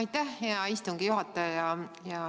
Aitäh, hea istungi juhataja!